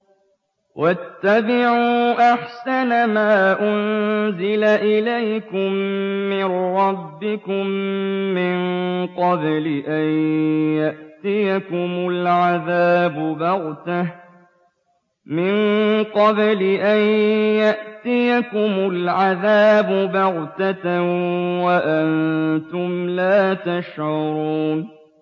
وَاتَّبِعُوا أَحْسَنَ مَا أُنزِلَ إِلَيْكُم مِّن رَّبِّكُم مِّن قَبْلِ أَن يَأْتِيَكُمُ الْعَذَابُ بَغْتَةً وَأَنتُمْ لَا تَشْعُرُونَ